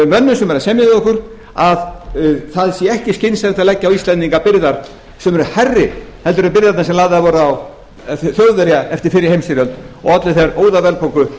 mönnum sem eru að semja við okkur að það sé ekki skynsamlegt að leggja á íslendinga byrðar sem eru hærri en byrðarnar sem lagðar voru á þjóðverja eftir fyrri heimsstyrjöld og olli þar óðaverðbólgu